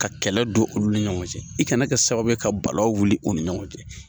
Ka kɛlɛ don olu ni ɲɔgɔn cɛ i kana kɛ sababu ye ka balawu wuli olu ni ɲɔgɔn cɛ.